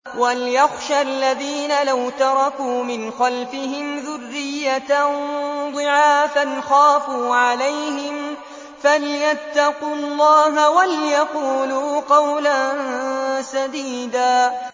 وَلْيَخْشَ الَّذِينَ لَوْ تَرَكُوا مِنْ خَلْفِهِمْ ذُرِّيَّةً ضِعَافًا خَافُوا عَلَيْهِمْ فَلْيَتَّقُوا اللَّهَ وَلْيَقُولُوا قَوْلًا سَدِيدًا